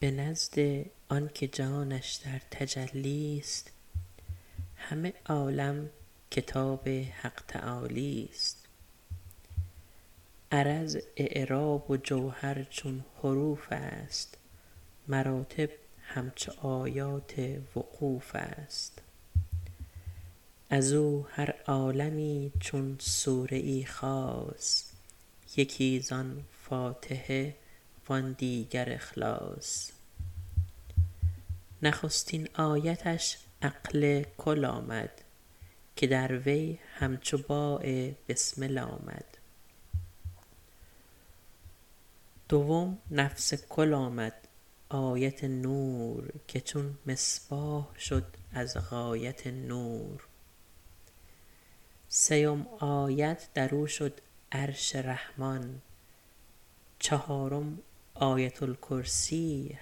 به نزد آنکه جانش در تجلی است همه عالم کتاب حق تعالی است عرض اعراب و جوهر چون حروف است مراتب همچو آیات وقوف است از او هر عالمی چون سوره ای خاص یکی زان فاتحه و آن دیگر اخلاص نخستین آیتش عقل کل آمد که در وی همچو باء بسمل آمد دوم نفس کل آمد آیت نور که چون مصباح شد از غایت نور سیم آیت در او شد عرش رحمان چهارم آیت الکرسی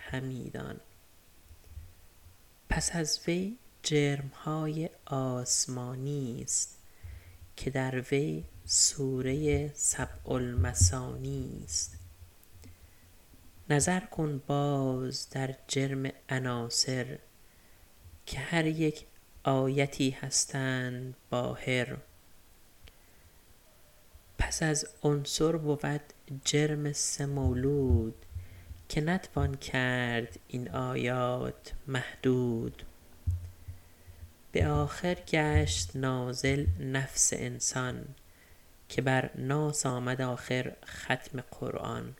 همی دان پس از وی جرمهای آسمانی است که در وی سوره سبع المثانی است نظر کن باز در جرم عناصر که هر یک آیتی هستند باهر پس از عنصر بود جرم سه مولود که نتوان کرد این آیات محدود به آخر گشت نازل نفس انسان که بر ناس آمد آخر ختم قرآن